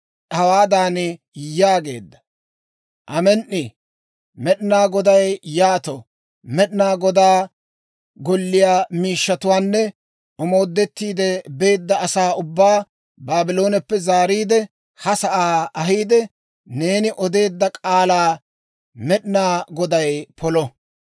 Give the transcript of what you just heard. hawaadan yaageedda; «Amen"i! Med'inaa Goday yaato! Med'inaa Godaa Golliyaa miishshatuwaanne omoodettiide beedda asaa ubbaa Baablooneppe zaariide, ha sa'aa ahiide, neeni odeedda k'aalaa Med'inaa Goday polo!